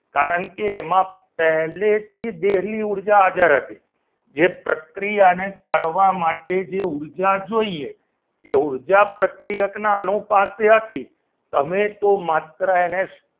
કારણ કે એમાં પહેલેથી દહેલી ઉર્જા આગળ હતી જે પ્રક્રિયાને કરવા માટે જે ઉર્જા ને જોઈએ એ ઉર્જા પ્રક્રિયકના અનુ પાસે હતી તમે તો માત્ર એને